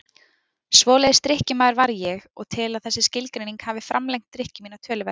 Svoleiðis drykkjumaður var ég og tel að þessi skilgreining hafi framlengt drykkju mína töluvert.